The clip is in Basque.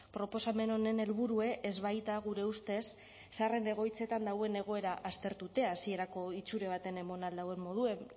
proposamen honen helburua ez baita gure ustez zaharren egoitzetan dagoen egoera aztertzea hasierako itxura batean emon ahal dauen moduen